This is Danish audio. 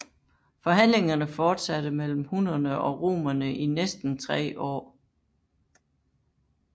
Forhandlingerne fortsatte mellem hunnerne og romerne i næsten tre år